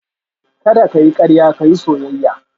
Kada ka yi karya ka yi soyayya